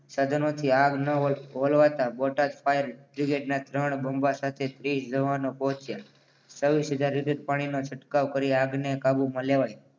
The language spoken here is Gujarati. સાધનોથી આગ ન હોલવાતા બોટાદ ફાયર બ્રિગેડના ત્રણ બંબા સાથે ત્રીસજવાનો પહોંચે છવ્વીસ હજાર લિટર પાણીના છંટકાવ કરી આગને કાબુમાં લેવાય.